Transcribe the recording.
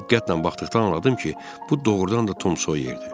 Diqqətlə baxdıqda anladım ki, bu doğrudan da Tom Soyer idi.